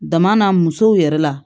Dama n'a musow yɛrɛ la